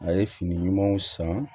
A ye fini ɲumanw san